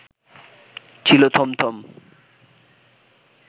ছিল থমথম